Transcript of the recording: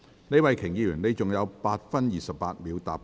李慧琼議員，你還有8分28秒答辯。